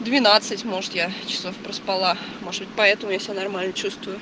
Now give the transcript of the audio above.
двенадцать может я часов проспала может поэтому я себя нормально чувствую